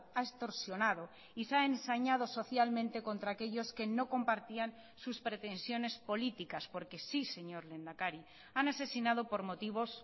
ha extorsionado y se ha ensañado socialmente contra aquellos que no compartían sus pretensiones políticas porque sí señor lehendakari han asesinado por motivos